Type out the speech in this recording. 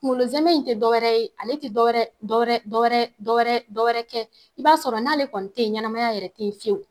Kunkolo zɛmɛ in te dɔwɛrɛ ye ale te dɔ wɛrɛ dɔ wɛrɛ dɔ wɛrɛ dɔ wɛrɛ dɔ wɛrɛ kɛ i b'a sɔrɔ n'ale kɔni te ye ɲɛnɛmaya yɛrɛ ten fiyewu